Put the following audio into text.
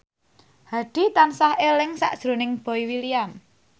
Hadi tansah eling sakjroning Boy William